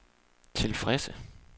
tilfredse